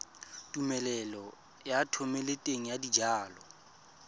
tumelelo ya thomeloteng ya dijalo